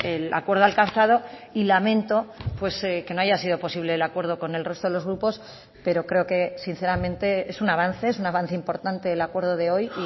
el acuerdo alcanzado y lamento que no haya sido posible el acuerdo con el resto de los grupos pero creo que sinceramente es un avance es un avance importante el acuerdo de hoy y